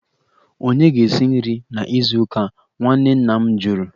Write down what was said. Ònye ga-esi nri na izu ụka a? Nwanne nna m jụrụ